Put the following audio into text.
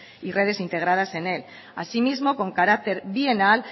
y redes integradas en él asimismo con carácter bienal